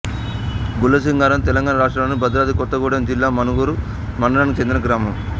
గుండ్లసింగారం తెలంగాణ రాష్ట్రంలోని భద్రాద్రి కొత్తగూడెం జిల్లా మణుగూరు మండలానికి చెందిన గ్రామం